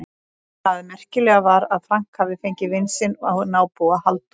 Það merkilega var að Frank hafði fengið vin sinn og nábúa, Halldór